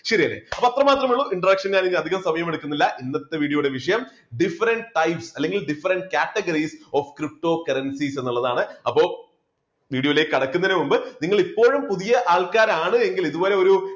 ശരിയല്ലേ, അപ്പോ അത്ര മാത്രമേ ഉള്ളൂ introduction ഞാൻ ഇനിയും അധികം സമയം എടുക്കുന്നില്ല ഇന്നത്തെ video യുടെ വിഷയം different type അല്ലെങ്കിൽ different categories of cryptocurrencies എന്ന് ഉള്ളത് ആണ്. അപ്പോ video ലേക്ക് കടക്കുന്നതിന് മുമ്പ് നിങ്ങൾ ഇപ്പോഴും പുതിയ ആൾക്കാരാണ് എങ്കിൽ ഇതുപോലെ ഒരു